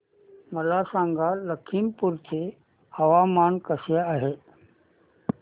मला सांगा लखीमपुर चे हवामान कसे आहे